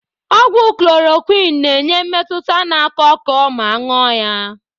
Ogwu Chloroquine na-enye mmetụta na ako oko ma ṅụo ya.